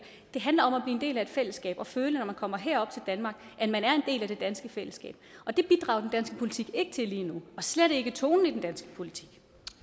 det handler om at blive en del af et fællesskab og føle når man kommer herop til danmark at man er en del af det danske fællesskab og det bidrager danske politik ikke til lige nu og slet ikke tonen i den danske politik